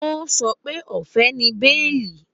Ó sọ pé ọ̀fẹ́ ni béèlì